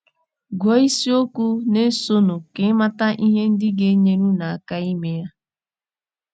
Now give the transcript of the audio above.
Gụọ isiokwu na - esonụ ka ị mata ihe ndị ga - enyere unu aka ime ya.